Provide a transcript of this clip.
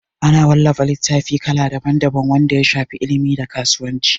Ana wallafa littatafai kala daban daban wanda ya shafi ilimi da kasuwanci